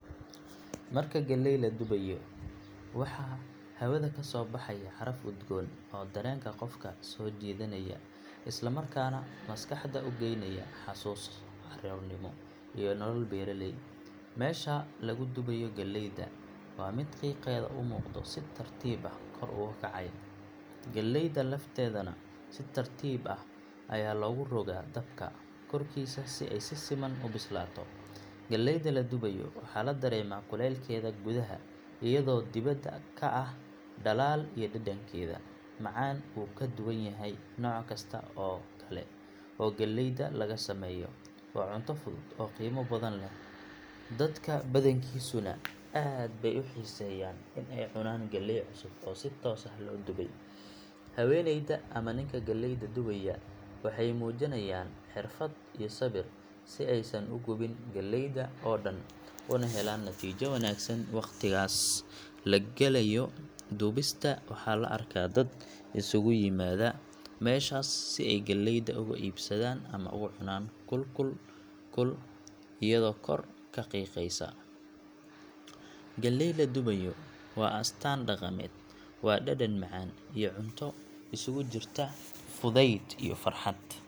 Marka galley la dubayo waxaa hawada ka soo baxaya caraf udgoon oo dareenka qofka soo jiidanaya isla markaana maskaxda u geynaya xusuuso caruurnimo iyo nolol beeraley. Meesha lagu dubayo galleydu waa mid qiiqeeda u muuqdo si tartiib ah kor ugu kacaya, galleyda lafteedana si tartiib ah ayaa loogu rogaa dabka korkiisa si ay si siman u bislaato. Galleyda la dubayo waxaa la dareemaa kulaylkeeda gudaha iyadoo dibedda ka ah dhalaal iyo dhadhankeeda macaan uu ka duwan yahay nooc kasta oo kale oo galleyda laga sameeyo. Waa cunto fudud oo qiimo badan leh, dadka badankiisuna aad bay u xiiseeyaan in ay cunaan galley cusub oo si toos ah loo dubay. Haweeneyda ama ninka galleyda dubaya waxay muujinayaan xirfad iyo sabir si aysan u gubin galleyda oo dhan una helaan natiijo wanaagsan. Waqtigaas la galayo dubista waxaa la arkaa dad isugu yimaada meeshaas si ay galleyda uga iibsadaan ama ugu cunaan kul kul kul iyadoo kor ka qiiqaysa. Galley la dubayo waa astaan dhaqameed, waa dhadhan macaan iyo cunto isugu jirta fudayd iyo farxad.